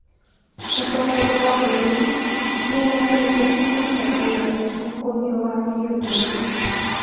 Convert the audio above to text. Mũtongoria wa bũrũri nĩ eranĩire kwambatĩria ũkũria wa gĩbũrũri